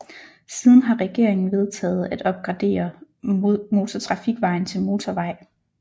Siden har regeringen vedtaget at opgradere motortrafikvejen til motorvej